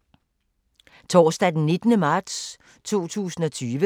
Torsdag d. 19. marts 2020